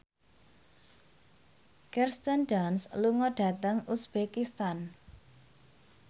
Kirsten Dunst lunga dhateng uzbekistan